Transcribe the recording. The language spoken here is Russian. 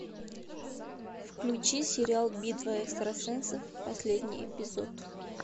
включи сериал битва экстрасенсов последний эпизод